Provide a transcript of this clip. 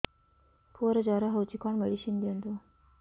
ପୁଅର ଜର ହଉଛି କଣ ମେଡିସିନ ଦିଅନ୍ତୁ